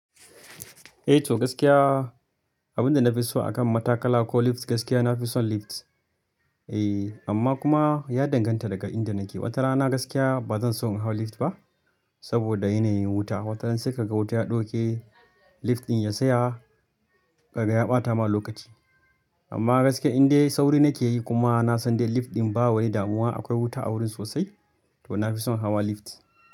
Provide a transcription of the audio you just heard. Eh to gaskiya, abin da na fi so akan matakala ko lift gaskiya na fi son lift. Eh amma kuma ya danganta daga inda nake. Wata rana gaskiya ba zan so in hau lift ba saboda yanayin wuta. Wata rana sai ka ga wuta ya ɗauke lift ɗin ya tsaya, kaga ya ɓata ma lokaci. Amma gaskiya indai sauri nake yi kuma na san dai lift ɗin ba wane damuwa akwai wuta a wurin sosai to na fi son hawa lift.